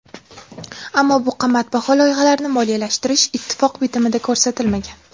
Ammo bu qimmatbaho loyihalarni moliyalashtirish ittifoq bitimida ko‘rsatilmagan.